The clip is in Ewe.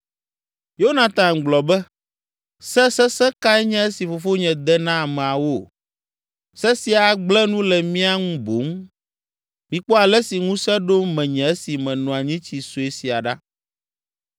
Yonatan gblɔ be, “Se sesẽ kae nye esi fofonye de na ameawo? Se sia agblẽ nu le mía ŋu boŋ. Mikpɔ ale si ŋusẽ ɖo menye esi meno anyitsi sue sia ɖa!